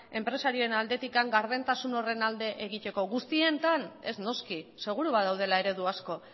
enpresarien aldetik gardentasun horren alde egiteko guztietan ez noski seguru badaudela eredu asko